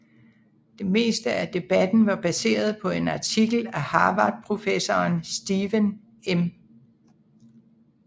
Det meste af debatten var baseret på en artikel af Harvard professoren Stephen M